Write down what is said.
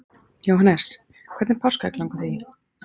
Jóhannes: Hvernig páskaegg langar þig í?